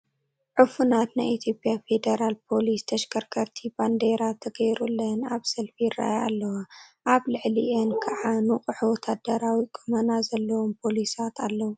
ዑፉናት ናይ ኢትዮጵያ ፌደራል ፖሊስ ተሽከርከርቲ ባንዴራ ተገይሩለን ኣብ ሰልፊ ይርአያ ኣለዋ፡፡ ኣብ ልዕሊአን ከዓ ንቑሕ ወታደራዊ ቁመና ዘለዎም ፖሊሳት ኣለዉ፡፡